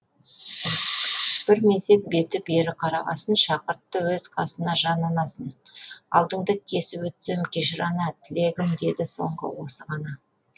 бір мезет беті бері қарағасын шақыртты өз қасына жан анасын алдыңды кесіп өтсем кешір ана тілегім деді соңғы осы ғана